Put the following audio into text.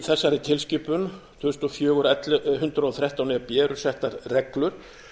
í þessari tilskipun tvö þúsund og fjögur hundrað og þrettán e b eru settar reglur